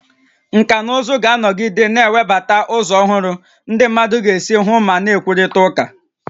Nkà na ụzụ ga-anọgide na-ewebata ụzọ ọhụrụ ndị mmadụ ga-esi hụ ma na-ekwurịta okwu